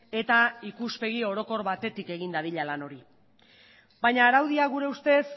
eta ikuspegi orokor batetik egin dadila lan hori baina araudia gure ustez